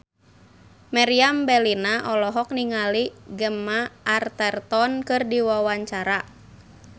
Meriam Bellina olohok ningali Gemma Arterton keur diwawancara